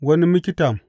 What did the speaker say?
Wani miktam.